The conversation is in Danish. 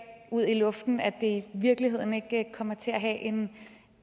ud i luften og at det i virkeligheden ikke kommer til at have en